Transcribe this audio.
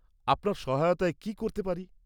-আপনার সহায়তায় কী করতে পারি?